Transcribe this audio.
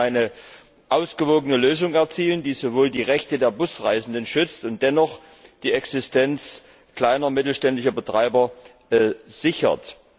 Wir konnten eine ausgewogene Lösung erzielen, die die Rechte der Busreisenden schützt und dennoch die Existenz kleiner und mittelständischer Betreiber sichert.